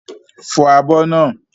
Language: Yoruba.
Fọ àbọ̀ naa!